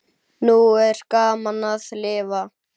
Nú er gaman að lifa!